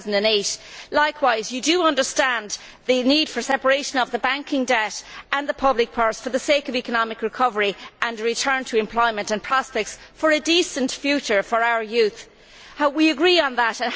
2008. Likewise, you understand the need for separation of the banking debt and the public purse for the sake of economic recovery and a return to employment and prospects for a decent future for our youth. We agree that